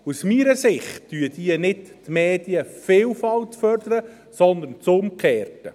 Aus meiner Sicht fördern diese nicht die Medienvielfalt, sondern das Umgekehrte.